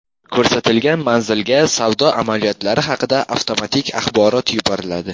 Ko‘rsatilgan manzilga savdo amaliyotlari haqida avtomatik axborot yuboriladi.